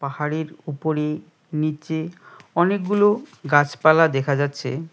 হাড়ির উপরে নিচে অনেকগুলো গাছপালা দেখা যাচ্ছে।